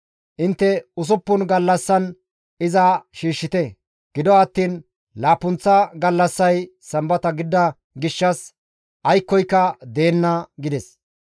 Intte usuppun gallassan iza shiishshite; gido attiin laappunththa gallassay sambata gidida gishshas aykkoyka deenna» gides.